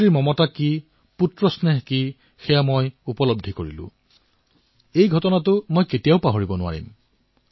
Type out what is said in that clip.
মাৰ মৰম কি বাৎসল্য কি সেই ঘটনা মই কেতিয়াও পাহৰিব নোৱাৰো